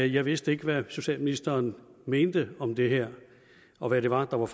jeg vidste ikke hvad socialministeren mente om det her og hvad det var der var